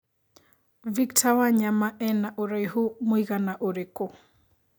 Victor Wanyama ena ũraihu mũigana ũrikũ